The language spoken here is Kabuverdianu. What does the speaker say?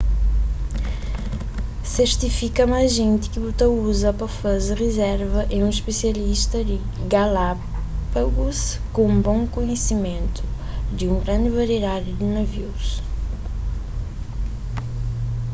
sertifika ma ajenti ki bu uza pa faze rizerva é un spisialista di galápagus ku un bon kohesimentu di un grandi variedadi di navius